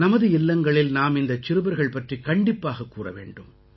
நமது இல்லங்களில் நாம் இந்தச் சிறுவர்கள் பற்றிக் கண்டிப்பாகக் கூற வேண்டும்